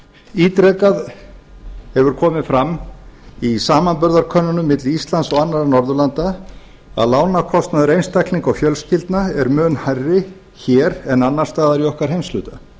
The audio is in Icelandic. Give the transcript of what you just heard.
ítrekað hefur komið fram í samanburðarkönnunum milli íslands og annarra norðurlanda að lánakostnaður einstaklinga og fjölskyldna mun hærri hér en annars staðar í okkar heimshluta